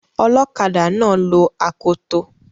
Ọlọkadà náà lo akoto